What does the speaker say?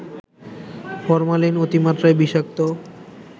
formalin অতিমাত্রায় বিষাক্ত